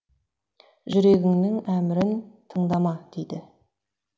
жүрегіңнің әмірін тыңдама дейді